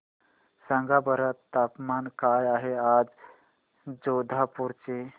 सांगा बरं तापमान काय आहे आज जोधपुर चे